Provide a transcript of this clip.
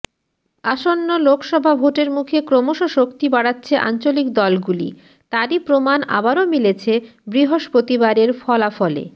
আসন্ন লোকসভা ভোটের মুখে ক্রমশ শক্তি বাড়াচ্ছে আঞ্চলিক দলগুলি তারই প্রমাণ আবারও মিলেছে বৃহস্পতিবারের ফলাফলে